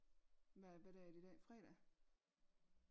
Hvad hvad dag er det i dag fredag?